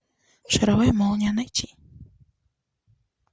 шаровая молния найти